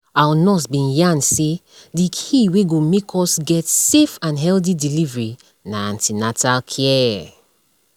our nurse bin yarn say the key wey go make us get safe and healthy delivery na an ten atal care